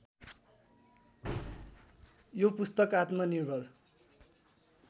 यो पुस्तक आत्मनिर्भर